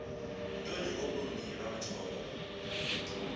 ntoni ngobuni bamathole